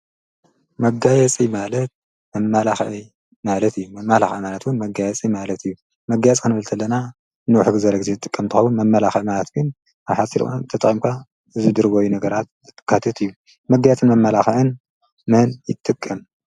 መጋየፂ ማለት ኣማላሕ ማለት እዩ። መማላሕዕ ማለትዉን መጋየፂይ ማለት እዩ መጋያት ከንብልተለና ንውሕግዘለጊዜት ዝጥቀምትዋቡን መመላኽዕማልትኩን ኣብ ሓሲልኦ ተጥቐምኳ ዝድርበዩ ነገራት ካትት እዩ። መጋያትን መማላኽእን መን ይትቅ?